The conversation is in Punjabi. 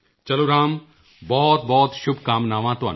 ਚਲੋ ਰਾਮ ਬਹੁਤਬਹੁਤ ਸ਼ੁਭਕਾਮਨਾਵਾਂ ਤੁਹਾਨੂੰ